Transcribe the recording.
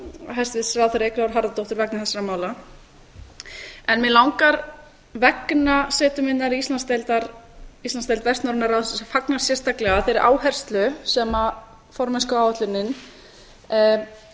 hæstvirts ráðherra eyglóar harðardóttur vegna þessara mála mig langar vegna setu minnar í íslandsdeild vestnorræna ráðsins að fagna sérstaklega þeirri áherslu sem formennskuáætlunin hefur